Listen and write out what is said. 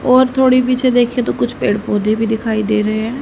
और थोड़ी पीछे देखिये तो कुछ पेड़-पौधे दिखाई दे रहे हैं।